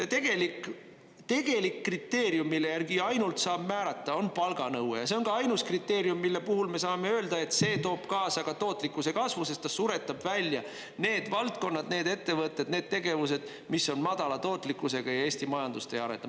Tegelik kriteerium, mille järgi ainult saab määrata, on palganõue ja see on ka ainus kriteerium, mille puhul me saame öelda, et see toob kaasa ka tootlikkuse kasvu, sest ta suretab välja need valdkonnad, need ettevõtted, need tegevused, mis on madala tootlikkusega ja Eesti majandust ei areta.